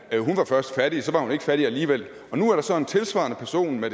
ja det så var hun ikke fattig alligevel nu er der så en tilsvarende person med